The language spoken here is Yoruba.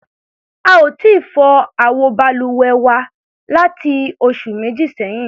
A ò tíì fọ àwọ balùwẹ̀ wa láti ọ̀sẹ̀ méjì sẹ́yìn.